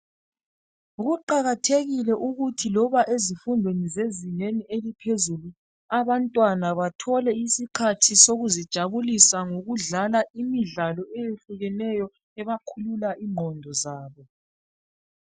Kuqakathekile ukuthi loba ezifundweni zezingeni eliphezulu abantwana bathole isikhathi sokuzijabulisa ngokudlala imidlalo eyehlukeneyo ebakhulula ingqondo zabo.